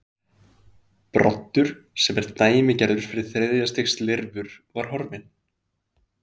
Broddur sem er dæmigerður fyrir þriðja stigs lirfur var horfinn.